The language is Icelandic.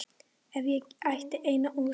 Ef ég ætti eina ósk.